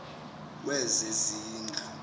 wezezindlu